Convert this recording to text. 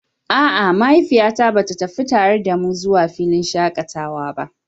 A'a, mahaifiyata ba ta tafi tare da mu zuwa filin shakatawa ba.